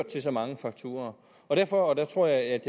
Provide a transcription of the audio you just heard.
til så mange fakturaer derfor og der tror jeg at